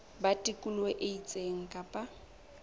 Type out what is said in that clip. ba tikoloho e itseng kapa